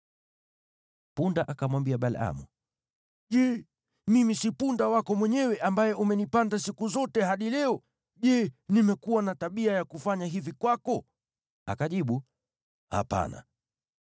Punda akamwambia Balaamu, “Je, mimi si punda wako mwenyewe, ambaye umenipanda siku zote, hadi leo? Je, nimekuwa na tabia ya kufanya hivi kwako?” Akajibu, “Hapana.”